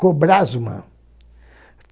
Cobrasma.